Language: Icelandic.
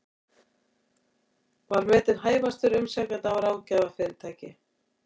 Var metinn hæfastur umsækjenda af ráðgjafarfyrirtæki